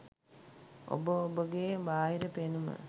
ඔබ ඔබගෙ බාහිර පෙනුම